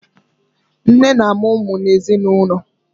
Nne na amụ ụmụ n'ezinụlọ